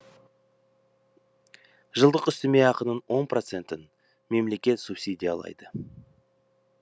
жылдық үстеме ақының он процентін мемлекет субсидиялайды